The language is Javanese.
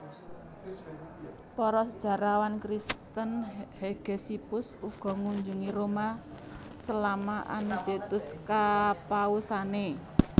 Para sejarawan Kristen Hegesippus ugo ngunjungi Roma selama Anicetus kepausane